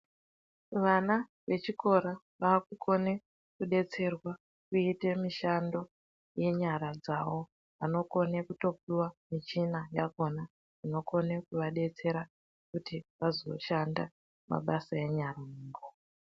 Vana vechikora vaakukone kudetserwa kuite mishando yenyara dzavo. Vanokone kutopuwa michina yakhona inokone kuva detsera kuti vazoshanda mabasa enyara.